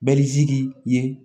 Bɛlisigi ye